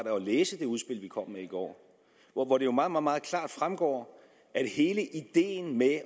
at læse det udspil vi kom med i går hvoraf det jo meget meget klart fremgår at hele ideen med